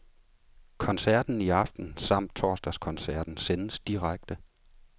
Koncerten i aften samt torsdagskoncerten sendes direkte.